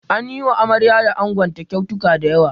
An yi wa amarya da ango kyautuka da yawa.